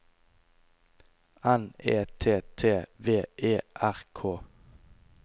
N E T T V E R K